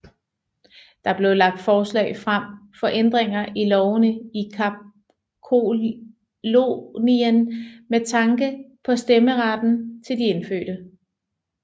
Der blev lagt forslag frem for ændringer i lovene i Kapkolonien med tanke på stemmeretten til de indfødte